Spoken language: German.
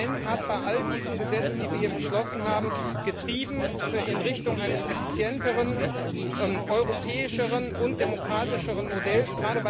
Das Parlament hat bei all diesen Gesetzen, die wir hier beschlossen haben, getrieben in Richtung eines effizienteren, europäischeren und demokratischeren Modells.